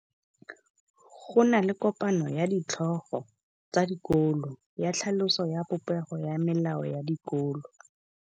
Go na le kopanô ya ditlhogo tsa dikolo ya tlhaloso ya popêgô ya melao ya dikolo.